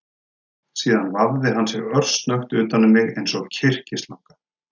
Síðan vafði hann sig örsnöggt utan um mig eins og kyrkislanga